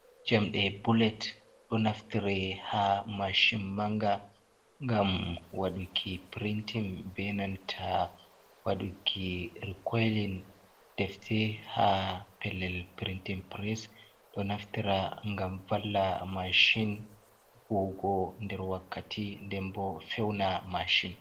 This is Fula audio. Jamɗe bullet ɗo naftire ha mashin manga ngam waɗuki printin be nanta waɗuki rekoilin defte ha pellel printin press. Ɗo naftira ngam valla mashin huwugo nder wakkati, nden bo feuna mashin.